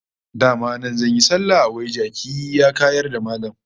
Dama nan zan yi sallah, wai jaki ya kayar da Mallam!